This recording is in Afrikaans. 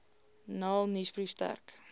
naln nuusbrief sterk